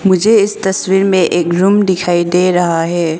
मुझे इस तस्वीर में एक रूम दिखाई दे रहा है।